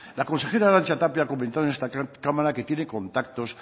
la consejera arantxa tapia comento en esta cámara que tiene contactos